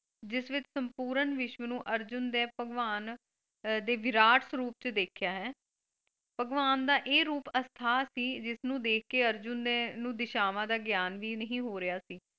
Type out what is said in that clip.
ਜਿਸ ਵਿੱਚ ਸੰਪੂਰਨ ਵਿਸ਼ਵ ਨੂੰ ਅਰਜੁਨ ਦੇ ਭਗਵਾਨ ਦੇ ਵਿਰਾਟ ਸਰੂਪ ਚ ਦੇਖਿਆ ਹੈ ਭਗਵਾਨ ਦਾ ਇਹ ਰੂਪ ਅਸਥਾ ਸੀ ਜਿਸ ਨੂੰ ਦੇਖ ਕੇ ਅਰਜੁਨ ਨੂੰ ਦਿਸ਼ਾਵਾਂ ਦਾ ਗਿਆਨ ਵੀ ਨਹੀਂ ਹੋ ਰਿਹਾ ਸੀ।